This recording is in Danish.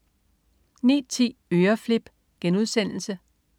09.10 Øreflip*